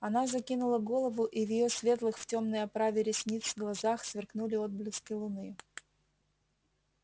она закинула голову и в её светлых в тёмной оправе ресниц глазах сверкнули отблески луны